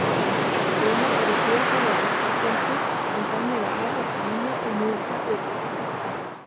Sumar eru sérhæfðar ullarkindur sem framleiða afar fína og mjúka ull.